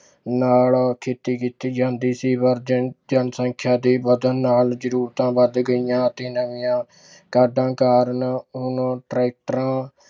ਨਾਲ ਖੇਤੀ ਕੀਤੀ ਜਾਂਦੀ ਸੀ ਜਨਸੰਖਿਆ ਦੇ ਵੱਧਣ ਨਾਲ ਜ਼ਰੂਰਤਾਂ ਵੱਧ ਗਈਆਂ ਅਤੇ ਨਵੀਆਂ ਕਾਢਾਂ ਕਾਰਨ ਹੁਣ ਟਰੈਕਟਰਾਂ